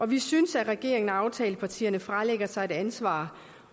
vi synes at regeringen og aftalepartierne fralægger sig ansvaret